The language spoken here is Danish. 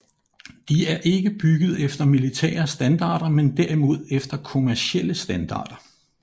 De er ikke bygget efter militære standarder men derimod efter kommercielle standarder